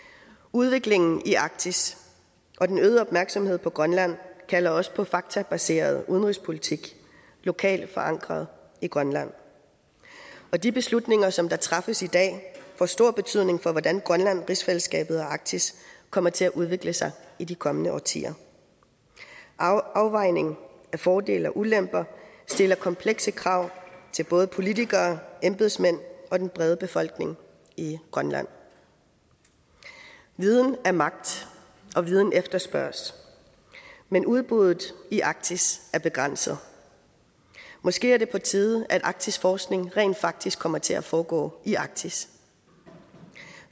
udviklingen i arktis og den øgede opmærksomhed på grønland kalder også på faktabaseret udenrigspolitik lokalt forankret i grønland og de beslutninger som træffes i dag får stor betydning for hvordan grønland rigsfællesskabet og arktis kommer til at udvikle sig i de kommende årtier afvejning af fordele og ulemper stiller komplekse krav til både politikere embedsmænd og den brede befolkning i grønland viden er magt og viden efterspørges men udbuddet i arktis er begrænset måske er det på tide at arktisk forskning rent faktisk kommer til at foregå i arktis